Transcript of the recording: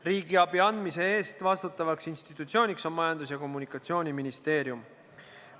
Riigiabi andmise eest vastutav institutsioon on Majandus- ja Kommunikatsiooniministeerium.